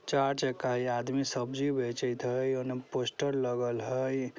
चार चक्का है ई आदमी सब्जी बेचत हई उने पोस्टर लगल हई।